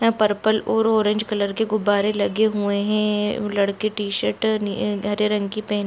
यहाँ परपल और orange colour के गुब्बारे लगे हुए है वो लड़के टीशर्ट नी- हरे रंग की पहन--